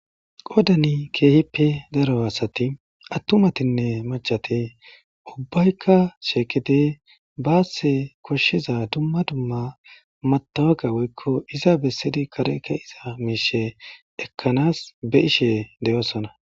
qodani keehippe daro asati attumatinne machate ubbaykka sheekete baasse koshshiza dumma dumma matawaka woykko iza bessidi kare ke iza miishe ekkanas be ishe deyosona